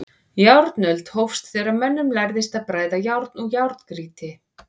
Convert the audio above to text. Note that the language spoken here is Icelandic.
Járnöld hófst þegar mönnum lærðist að bræða járn úr járngrýti.